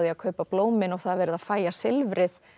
að kaupa blómin og það er verið að fægja silfrið